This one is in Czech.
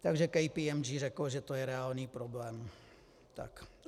Takže KPMG řeklo, že to je reálný problém.